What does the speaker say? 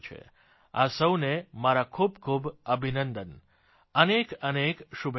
આ સહુને મારા ખૂબ ખૂબ અભિનંદન અનેક અનેક શુભેચ્છાઓ